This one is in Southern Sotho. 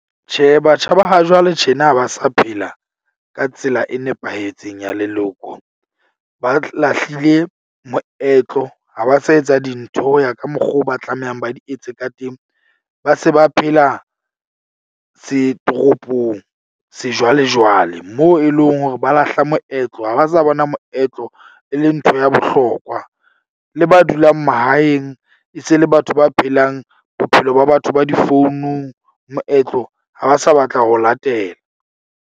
Tjhe, batjha ba ha jwale tjena ha ba sa phela ka tsela e nepahetseng ya leloko. Ba lahlile moetlo ha ba sa etsa dintho ho ya ka mokgwa o ba tlamehang ba di etse ka teng. Ba se ba phela tse toropong sejwalejwale. Moo e leng hore ba lahla moetlo ha ba sa bona moetlo, e leng ntho ya bohlokwa. Le ba dulang mahaeng e se le batho ba phelang bophelo ba batho ba difounung. Moetlo ha ba sa batla ho latela.